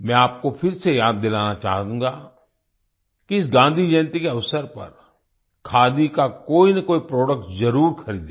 मैं आपको फिर से याद दिलाना चाहूँगा कि इस गाँधी जयंती के अवसर पर खादी का कोई ना कोई प्रोडक्ट ज़रूर ख़रीदें